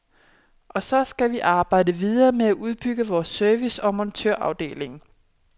Og så skal vi arbejde videre med at udbygge vores service og montørafdeling.